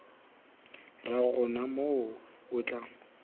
ra gona moo o tla